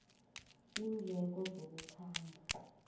iindleko zokukhamba